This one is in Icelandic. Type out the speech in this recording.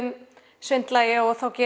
svindla ég og geri